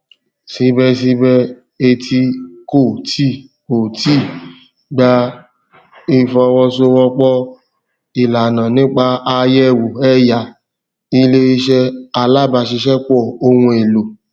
síbẹsíbẹ eti kò tí kò tí ì gba ìfọwọsowọpọ ìlànà nípa àyẹwò ẹyà iléiṣẹ alábàáṣiṣẹpọ ohun èlò